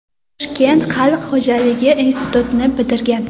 Toshkent xalq xo‘jaligi institutini bitirgan.